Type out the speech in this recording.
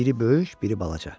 Biri böyük, biri balaca.